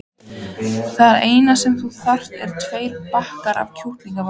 Það eina sem þú þarft eru tveir bakkar af kjúklingavængjum.